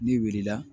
N'i wilila